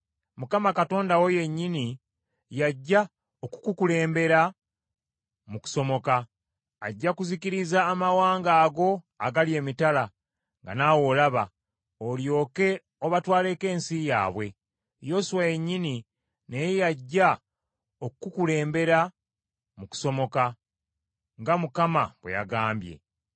Mukama Katonda wo yennyini y’ajja okukukulembera mu kusomoka. Ajja kuzikiriza amawanga ago agali emitala, nga naawe olaba, olyoke obatwaleko ensi yaabwe. Yoswa yennyini naye yajja okukukulembera mu kusomoka, nga Mukama bwe yagambye.